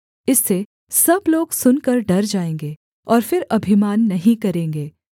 इससे सब लोग सुनकर डर जाएँगे और फिर अभिमान नहीं करेंगे